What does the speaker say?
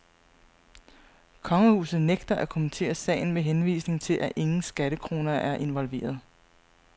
Kongehuset nægter at kommentere sagen med henvisning til, at ingen skattekroner er involveret.